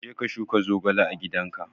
Je ka shuka zogale a gidanka!